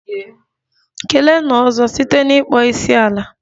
Keleenụ 'ozo' site n'ịkpọ isiala!